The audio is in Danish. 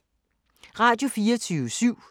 Radio24syv